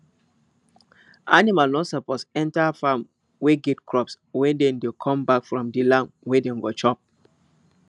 animal no suppose enter farm wey get crops when dem dey come back from the land wey dem go chop